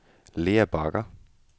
Lea Bagger